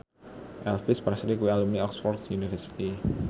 Elvis Presley kuwi alumni Oxford university